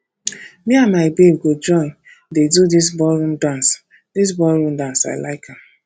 me and my babe go join dey do dis ballroom dance dis ballroom dance i like am